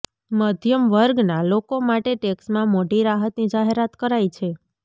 મધ્યમ વર્ગના લોકો માટે ટેક્સમાં મોટી રાહતની જાહેરાત કરાઇ છે